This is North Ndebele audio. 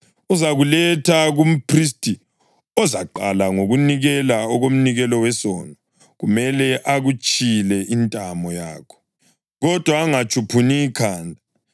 Uzakuletha kumphristi, ozaqala ngokunikela okomnikelo wesono. Kumele akutshile intamo yakho kodwa angatshuphuni ikhanda,